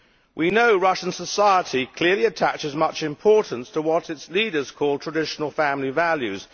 We know Russian society clearly attaches much importance to what its leaders call traditional family values'.